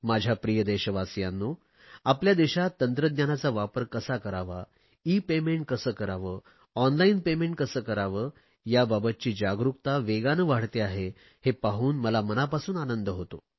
माझ्या प्रिय देशवासियांनो आपल्या देशात तंत्रज्ञानाचा वापर कसा करावा ईपेमेंट कसे करावे ऑनलाईन पेमेंट कसे करावे याबाबतची जागरुकता वेगाने वाढते आहे हे पाहून मला मनापासून आनंद होतो